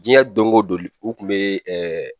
Diɲɛ dɔngo don o kun bɛ